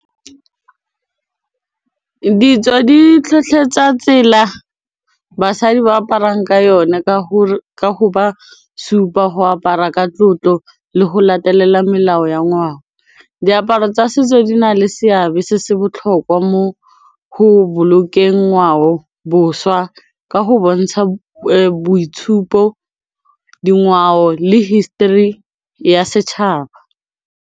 Ditso di tlhotlheletsa tsela basadi ba aparang ka yone ka go ba supa go apara ka tlotlo le go latelela melao ya ngwao, diaparo tsa setso di na le seabe se se botlhokwa mo go bolokeng ngwao boswa ka go bontsha boitshupo, dingwao le history ya setšhaba.